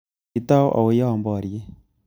Kitou auyo boriet